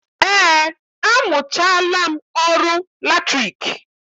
Eé, amụchaala m ọrụ latriki